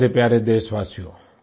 मेरे प्यारे देशवासियो